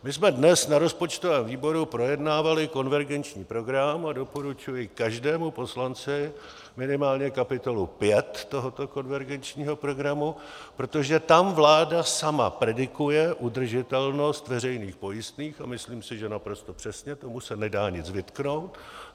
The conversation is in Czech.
My jsme dnes na rozpočtovém výboru projednávali konvergenční program a doporučuji každému poslanci minimálně kapitolu 5 tohoto konvergenčního programu, protože tam vláda sama predikuje udržitelnost veřejných pojistných - a myslím si, že naprosto přesně, tomu se nedá nic vytknout.